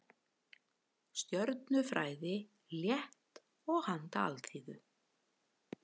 Stjörnufræði, létt og handa alþýðu.